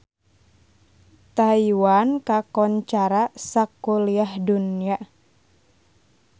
Taiwan kakoncara sakuliah dunya